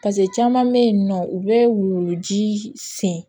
paseke caman be yen nɔ u be wuluji sen